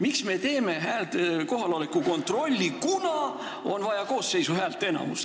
Miks me teeme kohaloleku kontrolli, kuna on vaja koosseisu häälteenamust.